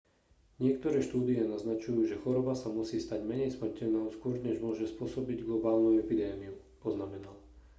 niektoré štúdie naznačujú že choroba sa musí stať menej smrteľnou skôr než môže spôsobiť globálnu epidémiu poznamenal